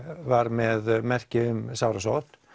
var með merki um sárasótt